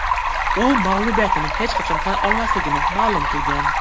U mag‘lubiyatini hech qachon tan olmasligini ma’lum qilgan.